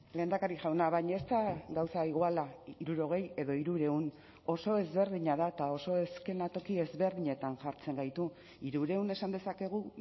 lehendakari jauna baina ez da gauza iguala hirurogei edo hirurehun oso ezberdina da eta oso eskenatoki ezberdinetan jartzen gaitu hirurehun esan dezakegu